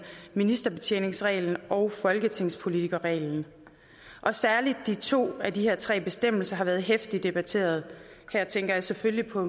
ministerbetjeningsreglen og folketingspolitikerreglen og særligt de to af de her tre bestemmelser har været heftigt debatteret her tænker jeg selvfølgelig på